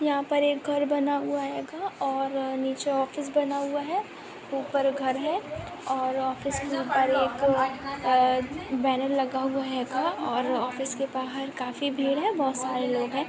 यहाँ पर एक घर बना हुआ हेगा और नीचे ऑफिस बना हुआ है ऊपर घर है ऑफिस में ऊपर एक अ बैनर लगा हुआ हेगा| ऑफिस के बाहर काफी भीड़ है बहुत सारे लोग हैं |